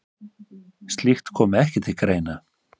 Slíkt komi ekki til greina.